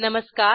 नमस्कार